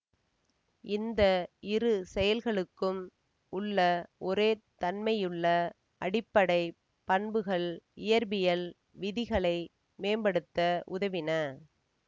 இந்த இரு செயல்களுக்கும் உள்ள ஒரே தன்மையுள்ள அடிப்படை பண்புகள் இயற்பியல் விதிகளை மேம்படுத்த உதவின